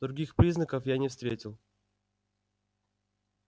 других признаков я не встретил